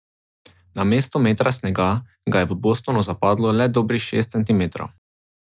Namesto metra snega ga je v Bostonu zapadlo le dobrih šest centimetrov.